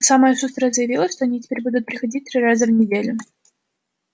самая шустрая заявила что они теперь будут приходить три раза в неделю